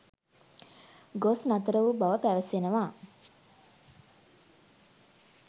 ගොස් නතර වූ බව පැවසෙනවා.